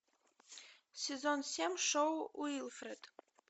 сезон семь шоу уилфред